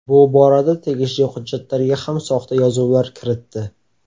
Bu borada tegishli hujjatlarga ham soxta yozuvlar kiritdi.